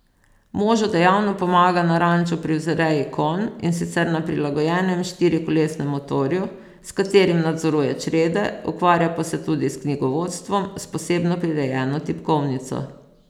Možu dejavno pomaga na ranču pri vzreji konj, in sicer na prilagojenem štirikolesnem motorju, s katerim nadzoruje črede, ukvarja pa se tudi s knjigovodstvom s posebno prirejeno tipkovnico.